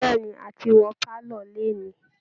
Bẹ̀ẹ̀ ni, a ti wọ pálọ̀ lénìí